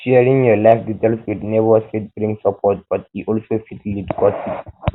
sharing your life um details with neighbors fit bring support but um e also fit lead gossip